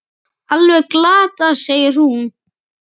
Alveg glatað, segir hún.